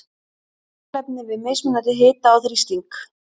Kolefni við mismunandi hita og þrýsting.